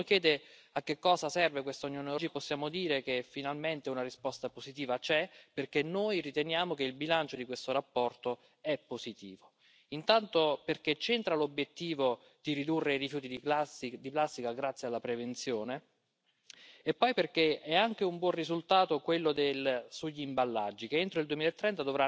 C'est pourquoi j'ai déposé deux amendements, qui défendent une vision plus cohérente, avec l'objectif de réduire la pollution au plastique. Il s'agit d'encourager et de privilégier fiscalement les substituts aux matières plastiques, comme le bois, le verre et le carton. Enfin, faisons attention au recyclage dans les pays tiers qui ne respectent pas nos normes. Malgré tout, je soutiendrai ce rapport. En effet, contre la pollution des plastiques, mieux vaut une stratégie que pas de stratégie du tout.